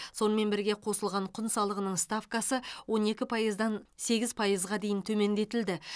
сонымен бірге қосылған құн салығының ставкасы он екі пайыздан сегіз пайызға дейін төмендетілді